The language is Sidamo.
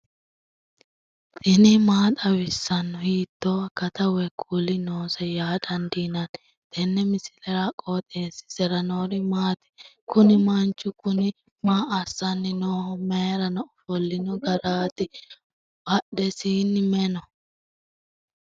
tini maa xawissanno ? hiitto akati woy kuuli noose yaa dandiinanni tenne misilera? qooxeessisera noori maati? kuni manchu kuni maa assanni nooho mayrano ofollino gararti badhesiinni may no